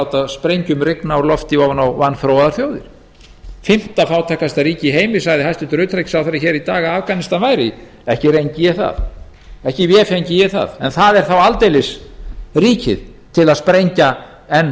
láta sprengjum rigna úr lofti ofan á vanþróaðar þjóðir hæstvirts utanríkisráðherra sagði hér í dag að afganistan væri fimmta fátækasta ríki í heimi ekki rengi ég það en það er þá aldeilis ríkið til að sprengja enn